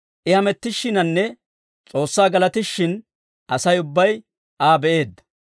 I hamettishshiinanne S'oossaa galatishshin, Asay ubbay Aa be'eedda.